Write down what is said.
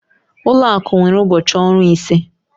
Ụlọ akụ nwere ụbọchị ọrụ ise.